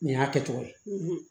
Nin y'a kɛcogo ye